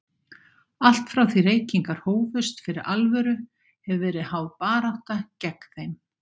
Allt frá því reykingar hófust fyrir alvöru, hefur verið háð barátta gegn þeim.